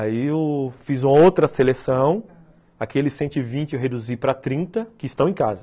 Aí eu fiz uma outra seleção, aquele cento e vinte que eu reduzi para trinta, que estão em casa.